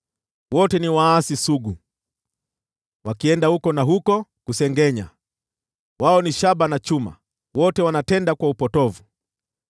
Wote ni waasi sugu, wakienda huku na huko kusengenya. Wao ni shaba na chuma, wote wanatenda upotovu.